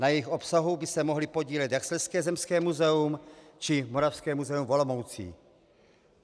Na jejich obsahu by se mohly podílet jak Slezské zemské muzeum, či Moravské muzeum v Olomouci.